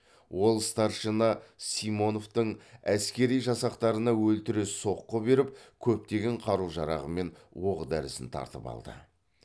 ол старшина симоновтың әскери жасақтарына өлтіре соққы беріп көптеген қару жарағы мен оқ дәрісін тартып алды